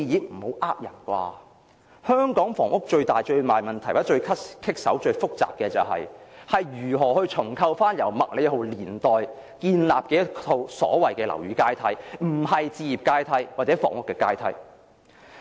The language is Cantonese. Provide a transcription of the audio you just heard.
不要騙人吧，香港房屋最大最大問題，或最難搞、最複雜的是，如何重構由麥理浩年代建立的樓宇階梯，並不是置業階梯或房屋階梯。